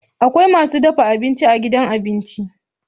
Akwai masu dafa abinci a gidan abinci.